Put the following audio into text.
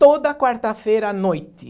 Toda quarta-feira à noite.